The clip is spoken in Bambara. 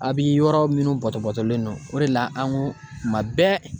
A bi yɔrɔ minnu bɔtɔbɔtɔlen don o de la an ko tuma bɛɛ.